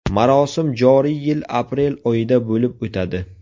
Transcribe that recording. Marosim joriy yil aprel oyida bo‘lib o‘tadi.